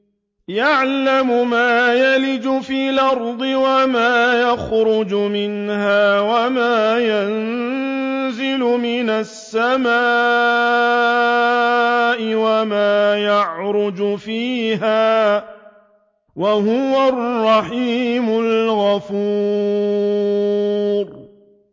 يَعْلَمُ مَا يَلِجُ فِي الْأَرْضِ وَمَا يَخْرُجُ مِنْهَا وَمَا يَنزِلُ مِنَ السَّمَاءِ وَمَا يَعْرُجُ فِيهَا ۚ وَهُوَ الرَّحِيمُ الْغَفُورُ